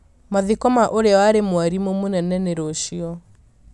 Mathiko ma ũrĩa warĩ mwarimũ mũnene nĩ rũciũ